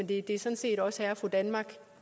det er sådan set også herre og fru danmark